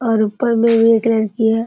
और ऊपर में एक लड़की है।